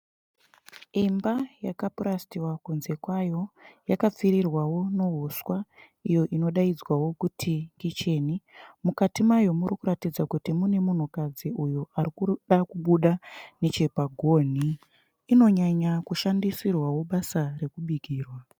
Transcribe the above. Imba yakapurasitiwa kunze kwayo. Yakapfirirwawo nuhuswa iyoinodainzwawo kunzi kucheni. Mukati mayo murikuratidza kuti mune munhukadzi uyo arikuda kubuda nechepagoni. Inonyanya kushandishandisirwawo basa rekubikira